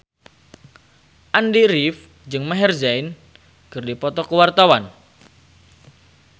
Andy rif jeung Maher Zein keur dipoto ku wartawan